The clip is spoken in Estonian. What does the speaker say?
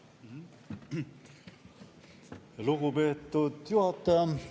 Lugupeetud juhataja!